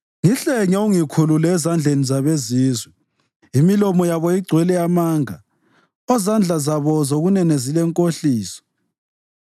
Ngihlenge, ungikhulule ezandleni zabezizwe omilomo yabo igcwele amanga, ozandla zabo zokunene zilenkohliso.